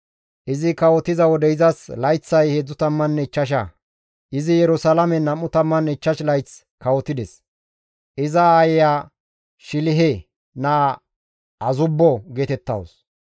Izi kawotiza wode izas layththay 35; izi Yerusalaamen 25 layth kawotides; iza aayeya Shilihe naa Azubbo geetettawus.